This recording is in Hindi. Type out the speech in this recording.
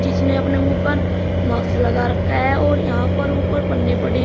इसने अपने मुंह पर माक्स लगा रखा है और यहां पर ऊपर पन्नी पड़ी--